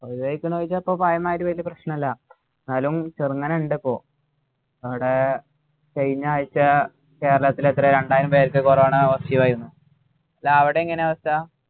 ഒഴിവായിക്കിണോ ചോയ്ച്ചാ ഇപ്പൊ പഴയ മാരി വലിയ പ്രശ്‌നമില്ല എന്നാലും ചെറുങ്ങനെ ഇണ്ട് ഇപ്പൊ ഇവിടെ കഴിഞ്ഞ ആഴ്ച കേരളത്തിൽ എത്രയ രണ്ടായിരം പേർക്കു corona positive ആയിരിന്നു അല്ല അവിടെ എങ്ങനെയാ അവസ്ഥ